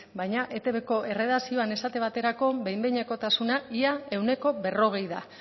baina etbko erredakzioan esate baterako behin behinekotasuna ia ehuneko berrogei da